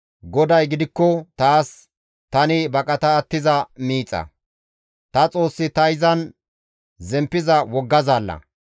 GODAY gidikko taas tani baqata attiza miixa; ta Xoossi ta izan zemppiza wogga zaalla.